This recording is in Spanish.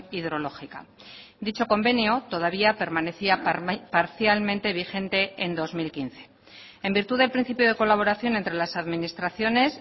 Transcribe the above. hidrológica dicho convenio todavía permanecía parcialmente vigente en dos mil quince en virtud del principio de colaboración entre las administraciones